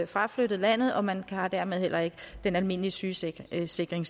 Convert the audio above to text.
fraflyttet landet og man har dermed heller ikke den almindelige sygesikringsdækning